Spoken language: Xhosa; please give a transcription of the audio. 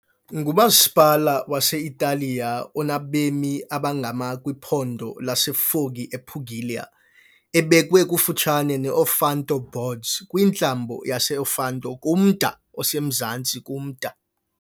ngumasipala wase-Italiya onabemi abangama- kwiphondo laseFoggia ePugilia, ebekwe kufutshane ne- Ofanto Boards kwintlambo yase-Ofanto kumda osemazantsi kumda.